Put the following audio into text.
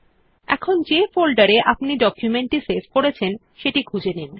এখন যে ফোল্ডার এ আপনি ডকুমেন্ট টি সেভ করেছেন সেই খুঁজে নিন